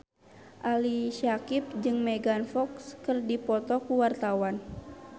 Ali Syakieb jeung Megan Fox keur dipoto ku wartawan